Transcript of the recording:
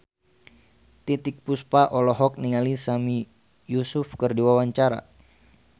Titiek Puspa olohok ningali Sami Yusuf keur diwawancara